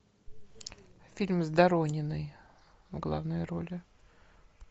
фильм с дорониной в главной роли